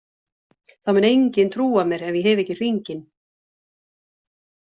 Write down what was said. Það mun enginn trúa mér ef ég hef ekki hringinn.